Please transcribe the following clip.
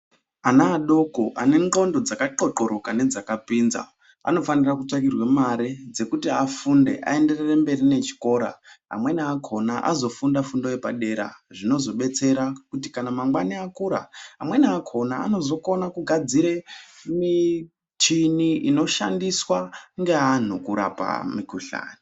Ana adoko ane ndxondo dzaka txotxoroka nedzakapinza anofane kutsvakirwe mare dzekuti afunde aenderere mberi nechikora. Amweni akhona azofunda fundo yepadera, zvinozodetsera kuti mangwana akura, amweni akhona anozokone kugadzire mishini inoshandiswe ngeantu kurapa mikhuhlane.